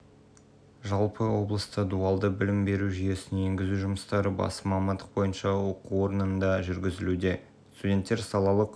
барлығын тегін формаға ауыстырды бүгінде адам жұмысшы мамандық бойынша ақысыз білім алып жатыр дейді саян